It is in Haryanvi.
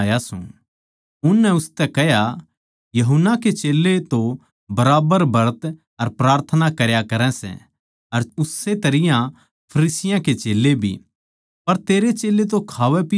उननै उसतै कह्या यूहन्ना के चेल्लें तो बराबर ब्रत अर प्रार्थना करया करै सै अर उस्से तरियां फरीसियाँ के चेल्लें भी पर तेरे चेल्लें तो खावैपीवै सै